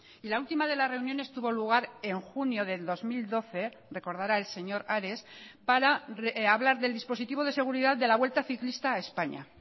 y la última de las reuniones tuvo lugar en junio del dos mil doce recordará el señor ares para hablar del dispositivo de seguridad de la vuelta ciclista a españa